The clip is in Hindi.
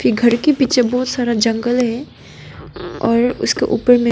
ई घर के पीछे बहुत सारा जंगल है और उसके ऊपर में--